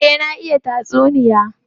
Eh, na iya tatsuniya.